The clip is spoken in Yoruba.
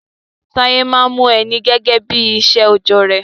Taye maa n hun Eni gege bi isé ojo re